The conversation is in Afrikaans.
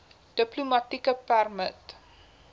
diplomatieke permit